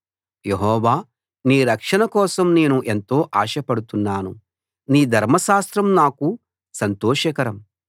యెహోవా నీ రక్షణ కోసం నేను ఎంతో ఆశపడుతున్నాను నీ ధర్మశాస్త్రం నాకు సంతోషకరం